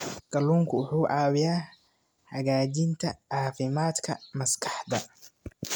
Kalluunku wuxuu caawiyaa hagaajinta caafimaadka maskaxda.